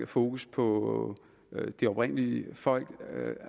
fokus på de oprindelige folk